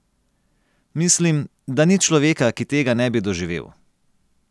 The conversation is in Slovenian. Mislim, da ni človeka, ki tega ne bi doživel.